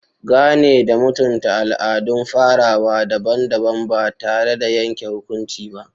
Gane da mutunta al'adun farawa daban-daban ba tare da yanke hukunci ba.